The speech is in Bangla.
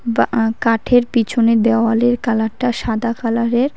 বা আ-কাঠের পিছনের দেওয়ালের কালারটা সাদা কালারের।